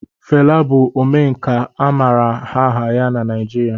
Fela bụ Omenkà a maara aha ya na Naijiria